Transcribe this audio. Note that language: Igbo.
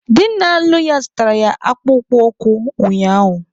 Di na-alụ ya zụtaara ya akpụkpọ ụkwụ ụnyaahụ.